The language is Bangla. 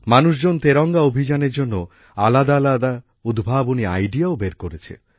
মানুষজন তেরঙ্গা অভিযানের জন্য আলাদাআলাদা উদ্ভাবনী আইডিয়াও বের করেছে